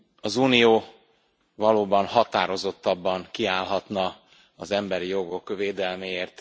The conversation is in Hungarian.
Az Unió valóban határozottabban kiállhatna az emberi jogok védelméért.